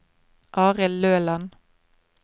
Arild Løland